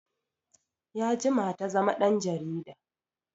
Ya jima ta zama ɗan jarida